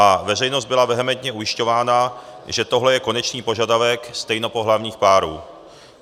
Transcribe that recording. A veřejnost byla vehementně ujišťována, že tohle je konečný požadavek stejnopohlavních párů.